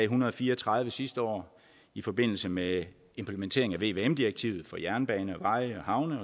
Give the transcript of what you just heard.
hundrede og fire og tredive sidste år i forbindelse med implementeringen af vvm direktivet for jernbaner veje havne